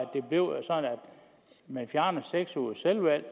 man fjernede de seks ugers selvvalgt